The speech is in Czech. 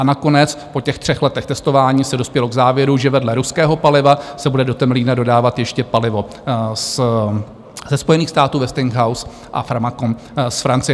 A nakonec po těch třech letech testování se dospělo k závěru, že vedle ruského paliva se bude do Temelína dodávat ještě palivo ze Spojených států Westinghouse a Framatome z Francie.